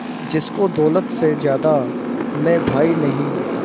जिसको दौलत से ज्यादा मैं भाई नहीं